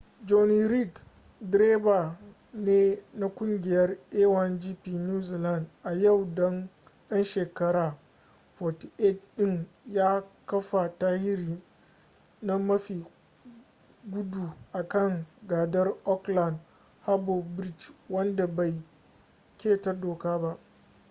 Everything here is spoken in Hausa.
jonny reid direba ne na kungiyar a1gp new zealand a yau dan shekara 48 din ya kafa tarihi na mafi gudu a kan gadar aukland harbor bridge wanda bai keta doka ba